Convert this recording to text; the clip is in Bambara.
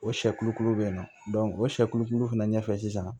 O sɛkulu be yen nɔ o sɛkulu fɛnɛ ɲɛfɛ sisan